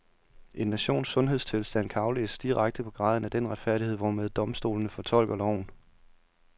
En nations sundhedstilstand kan aflæses direkte på graden af den retfærdighed, hvormed domstolene fortolker loven.